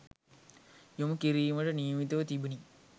යොමු කිරීමට නියමිතව තිබුණි.